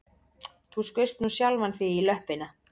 Þú skaust nú sjálfan þig í löppina